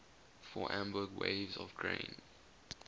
for amber waves of grain